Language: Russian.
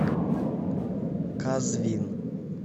казвин